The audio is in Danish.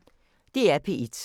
DR P1